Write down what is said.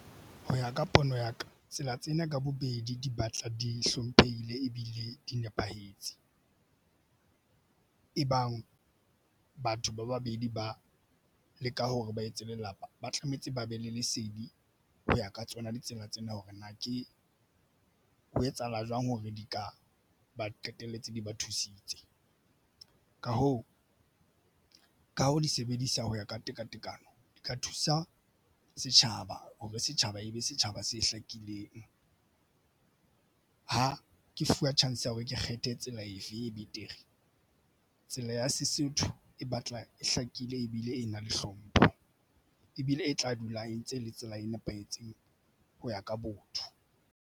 Ho ya ka pono ya ka tsela tsena ka bobedi di batla di hlomphehile ebile di nepahetse e bang batho ba babedi ba leka hore ba etse lelapa ba tlametse ba be le lesedi ho ya ka tsona ditsela tsena hore na ke ho etsahala jwang hore di ka ba qetelletse di ba thusitse. Ka hoo, ka ho di sebedisa ho ya ka tekatekano di ka thusa setjhaba hore setjhaba e be setjhaba se hlakileng. Ha ke fuwe chance ya hore ke kgethe tsela efe e betere. Tsela ya Sesotho e batla e hlakile ebile e na le hlompho ebile e tla dula e ntse e le tsela e nepahetseng ho ya ka botho.